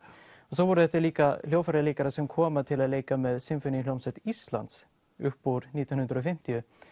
svo voru þetta líka hljóðfæraleikarar sem komu til að leika með Sinfóníuhljómsveit Íslands upp úr nítján hundruð og fimmtíu